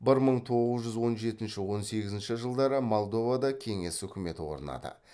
бір мың тоғыз жүз он жетінші он сегізінші жылдары молдовада кеңес өкіметі орнады